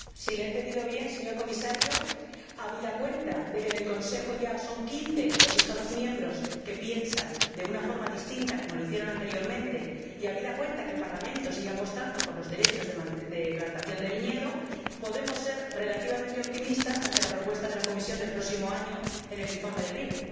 Si le he entendido bien, señor Comisario, habida cuenta de que, en el Consejo, ya son quince los Estados miembros que piensan de una forma distinta como lo hicieron anteriormente y habida cuenta de que el Parlamento sigue apostando por los derechos de plantación de viñedo, ¿podemos ser relativamente optimistas ante la propuesta de la Comisión del próximo año en el informe del vino?